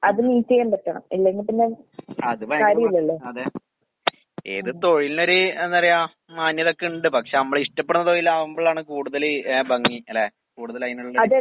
അത് ഭയങ്കര പാ അതെ. ഏത് തൊഴിലിനുവൊര് എന്താ പറയാ മാന്യതയൊക്കിണ്ട്. പക്ഷെ അമ്മളിഷ്ടപ്പെടുന്ന തൊഴിലാവുമ്പളാണ് കൂടുതല് ഏഹ് ഭംഗി അല്ലേ? കൂടുതൽ അതിനുള്ളൊരു